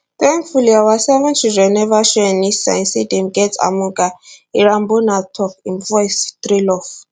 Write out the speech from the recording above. thankfully our seven children neva show any signs say dem get amoga irambona tok im voice trail off